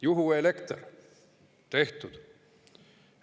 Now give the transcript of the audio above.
Juhuelekter – tehtud.